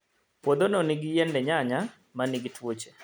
Puodhono nigi yiende nyanya ma nigi tuoche